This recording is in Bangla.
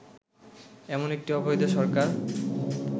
এমন একটি অবৈধ সরকার